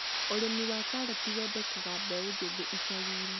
ũrĩmi wa karati wandĩkaga mbeũ njĩthĩ icagi-inĩ